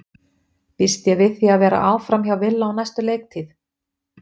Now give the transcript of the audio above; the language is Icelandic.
Býst ég við því að vera áfram hjá Villa á næstu leiktíð?